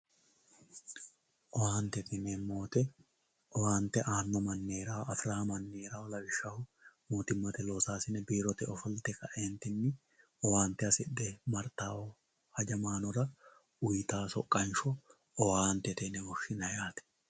owaantete yineemmowoyiite owaante aanno manni heerawoo afirawoo manni heerawoo lawishshaho babbaxxitino loosaasine biirote ofolte owaante hasidhe martawoo hajamaanora uyiitawoo soqqansho owaantete yine woshshinanni yaate.